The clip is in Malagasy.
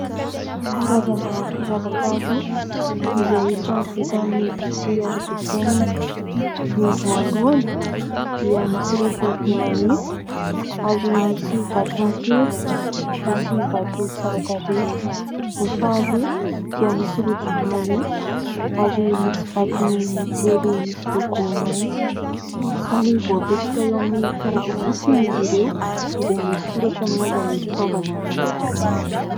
Karazana firavaka roa izay samy vita amin'ny vy tsy arafesenina. Ny voalohany dia misy rojo vy manify ary misy vatony kely, misy vato tsara tarehy. Ny faharoa dia misy rojo vy manify ary misy vatony môdely misy loko mainty. Samy voapetraka eo amin'ny karatra fotsy izy ireo izay misy soratra milaza ny fitaovana nanaovana azy.